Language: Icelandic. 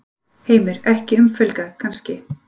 Heimir: Ekki umfelgað, kannski?